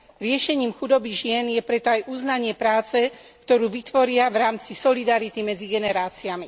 Riešením chudoby žien je preto aj uznanie práce, ktorú vytvoria v rámci solidarity medzi generáciami.